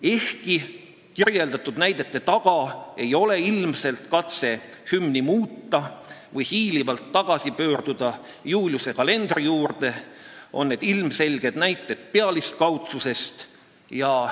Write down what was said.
Ehkki kirjeldatud näidete taga ei ole ilmselt katset hümni muuta või hiilivalt tagasi pöörduda Juliuse kalendri juurde, on need ilmselged näited pealiskaudsuse kohta.